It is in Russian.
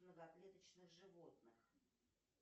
многоклеточных животных